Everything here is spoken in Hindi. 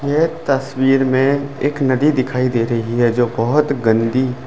यह तस्वीर में एक नदी दिखाई दे रही है जो बहुत गंदी ।